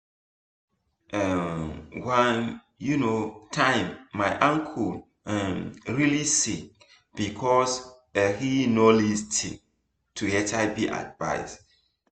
ehn one um time my uncle um really sick because ahe no lis ten to hiv advice